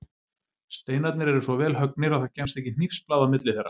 Steinarnir eru svo vel höggnir að það kemst ekki hnífsblað á milli þeirra.